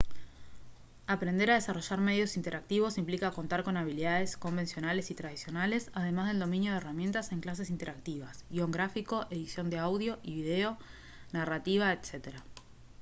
aprender a desarrollar medios interactivos implica contar con habilidades convencionales y tradicionales además del dominio de herramientas en clases interactivas guion gráfico edición de audio y video narrativa etc.